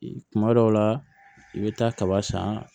Kuma dɔw la i bɛ taa kaba san